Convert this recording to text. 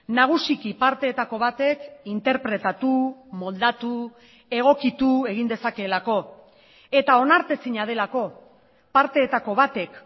nagusiki parteetako batek interpretatu moldatu egokitu egin dezakeelako eta onartezina delako parteetako batek